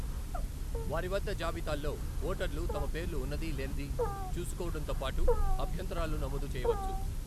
వారి వద్ద జాబితాల్లో ఓటర్లు తమ పేర్లు ఉన్నది, లేనిది చూసుకోవడంతోపాటు అభ్యంతరాలు నమోదు చేయవచ్చు.